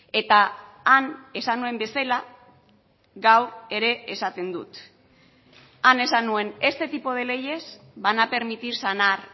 eta han esan nuen bezala gaur ere esaten dut han esan nuen este tipo de leyes van a permitir sanar